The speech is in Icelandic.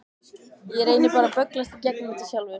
Ég reyni bara að bögglast í gegnum þetta sjálfur.